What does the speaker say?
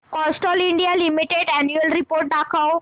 Castrol India limited annual report दाखव